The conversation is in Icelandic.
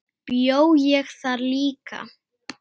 Bjó ég þar líka?